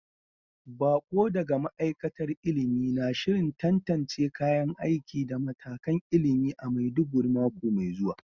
Bako daga ma'aikatar ilimi na shirin tantance kayan aiki da matakan ilimi a Maiduguri mako mai zuwa.